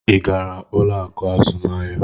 Ị gara ụlọ akụ azụmahịa?